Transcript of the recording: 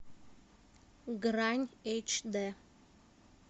грань эйч дэ